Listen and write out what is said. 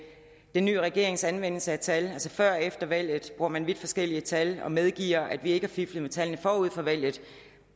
den nye regerings anvendelse af tal altså før og efter valget bruger man vidt forskellige tal og medgiver at vi ikke har fiflet med tallene forud for valget